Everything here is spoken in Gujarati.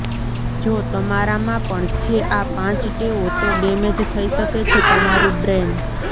જો તમારામાં પણ છે આ પાંચ ટેવો તો ડેમેજ થઈ શકે છે તમારું બ્રેન